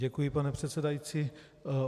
Děkuji, pane předsedající.